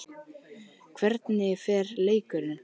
Hvernig fer leikurinn?